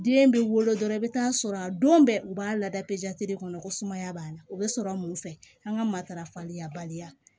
Den bɛ wolo dɔrɔn i bɛ taa sɔrɔ a don bɛɛ u b'a lada de kɔnɔ ko sumaya b'an na o bɛ sɔrɔ mun fɛ an ka matarafali labaliya